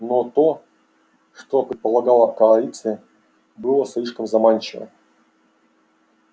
но то что предполагала коалиция было слишком заманчиво